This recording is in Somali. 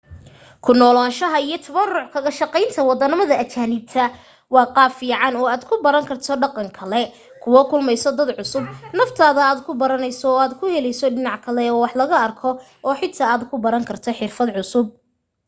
ku noolaanshaha iyo tabaruc kaga shaqaynta waddan ajaanib waa qaab fiican oo aad ku baran karto dhaqan kale kula kulmayso dad cusub naftaada aad ku baranayso oo aad ku helayso dhinac kale oo wax laga arko oo xitaa aad ku baran karto xirfad cusub